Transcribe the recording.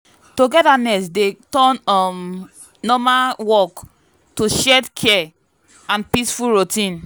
togetherness dey turn um normal work to shared care and peaceful routine.